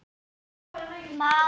Maður kemur alltaf heim aftur